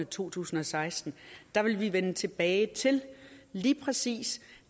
to tusind og seksten der ville vi vende tilbage til lige præcis